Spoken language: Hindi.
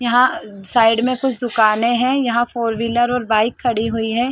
यहां साइड में कुछ दुकानें हैं यहां फोर व्हीलर और बाइक खड़ी हुई है।